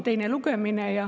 Teine lugemine.